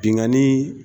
Binnkanni